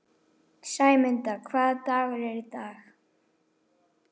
Sæmunda, hvaða dagur er í dag?